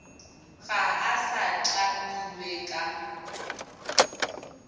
ga a sa tlamilwe ka